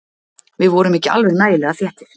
Við vorum ekki alveg nægilega þéttir.